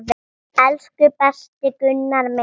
Elsku besti Gunni minn.